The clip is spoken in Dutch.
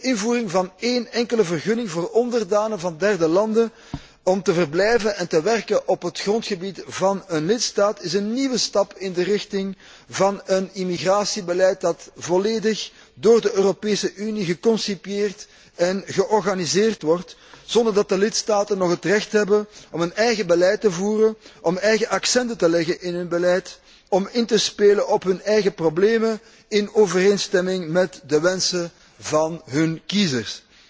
De invoering van één enkele vergunning voor onderdanen van derde landen om te verblijven en te werken op het grondgebied van een lidstaat, is een nieuwe stap in de richting van een immigratiebeleid dat volledig door de Europese Unie geconcipieerd en georganiseerd wordt, zonder dat de lidstaten nog het recht hebben om een eigen beleid te voeren, om eigen accenten te leggen in hun beleid, om in te spelen op hun eigen problemen in overeenstemming met de wensen van hun kiezers.